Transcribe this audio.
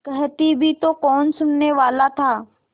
कहती भी तो कौन सुनने वाला था